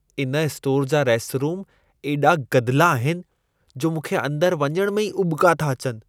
इन स्टोर जा रेस्टरूम एॾा गदिला आहिनि, जो मूंखे अंदर वञण में ई उॿिका था अचनि।